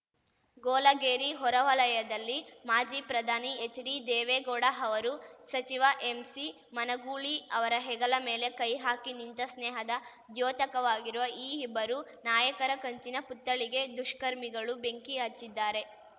ಗೋಲಗೇರಿ ಹೊರ ವಲಯದಲ್ಲಿ ಮಾಜಿ ಪ್ರಧಾನಿ ಎಚ್‌ಡಿದೇವೇಗೌಡ ಅವರು ಸಚಿವ ಎಂಸಿಮನಗೂಳಿ ಅವರ ಹೆಗಲ ಮೇಲೆ ಕೈ ಹಾಕಿ ನಿಂತ ಸ್ನೇಹದ ದ್ಯೋತಕವಾಗಿರುವ ಈ ಇಬ್ಬರು ನಾಯಕರ ಕಂಚಿನ ಪುತ್ಥಳಿಗೆ ದುಷ್ಕರ್ಮಿಗಳು ಬೆಂಕಿ ಹಚ್ಚಿದ್ದಾರೆ